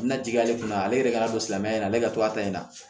Na jigi ale kunna ale yɛrɛ kana don silamɛya in na ale ka to a ta in na